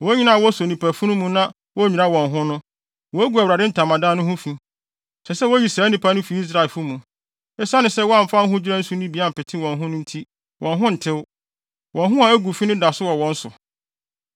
Wɔn a woso nnipa funu mu na wonnwira wɔn ho no, wogu Awurade Ntamadan no ho fi. Ɛsɛ sɛ woyi saa nnipa no fi Israelfo mu. Esiane sɛ wɔamfa ahodwira nsu no bi ampete wɔn ho no nti, wɔn ho ntew; wɔn ho a agu fi no da so wɔ wɔn so.